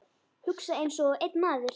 Hugsa einsog einn maður.